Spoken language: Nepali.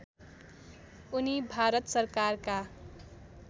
उनी भारत सरकारका